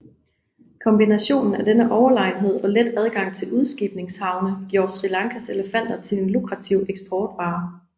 Kombinationen af denne overlegenhed og let adgang til udskibningshavne gjorde Sri Lankas elefanter til en lukrativ eksportvare